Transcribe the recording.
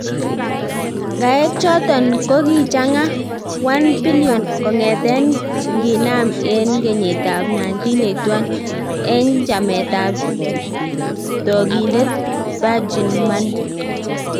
Ng'aek choton ko kichangan �1 bn kong'eten nginam en kenyitab 1981, en chametab toogindet Virgin Money.